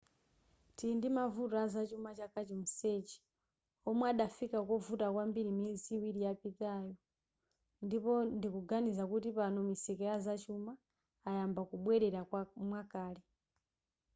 tili ndimavuto azachuma chaka chonsechi omwe adafika kovuta kwambiri miyezi iwiri yapitayo ndipo ndikuganiza kuti pano misika ya zachuma ayamba kubwelera mwakale